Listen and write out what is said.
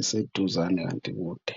iseduzane kanti ikude.